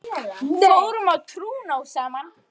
Fórum á trúnó saman.